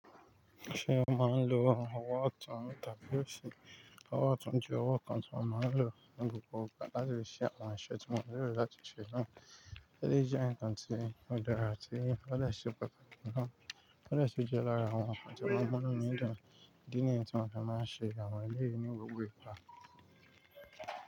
Ṣé o máa ń lo ọwọ́ ọtún, tàbí òsì ọwọ́ ọtún jẹ́ ọwọ́ kan tí mo máa ń lò ní gbogbo ìgbà láti fi ṣe àwọn iṣẹ́ tí mo nílò láti ṣe náà. Kí ló jẹ́ ǹkan tí ó dára tí ó lè ṣe pẹ̀lú rẹ̀ náà? Eléyìí sì jẹ́ lára àwọn ǹkan tí o máa n muú inú mi dùn Ìdí nìyen tí mo fi máa ń ṣe àwọn eléyìí ní gbogbo ìgbà.